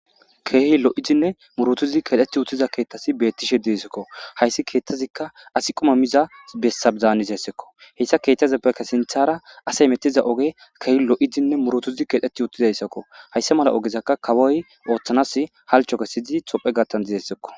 Keehi lo7idinne muruthidi keexeththiuththida kaaththati beeththisha deyzikko; hayssi keeththazikka asi quma miza bessa zaanizessa ko; hisa keeththazasseppekka sinththaara asi hemeththiza ogee lo7idinne murithidi keexetththiuththida iza ko; haysa male ogezakka kawoy ooththanaassi halchcho kessidi toophphe gaththan deesikko.